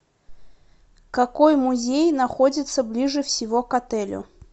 какой музей находится ближе всего к отелю